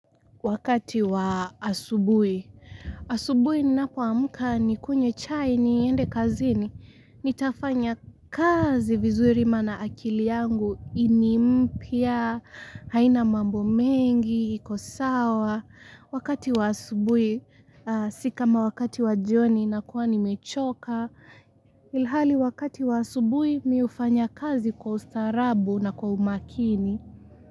Wakati wa asubuhi, asubuhi ninapoamka nikunywe chai niende kazini, nitafanya kazi vizuri maana akili yangu, i ni mpya, haina mambo mengi, iko sawa, wakati wa asubuhi, si kama wakati wa jioni nakuwa nimechoka, ilhali wakati wa asubuhi mi hufanya kazi kwa ustaarabu na kwa umakini.